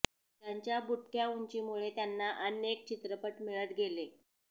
त्यांच्या बुटक्या उंचीमुळे त्यांना अनेक चित्रपट मिळत गेले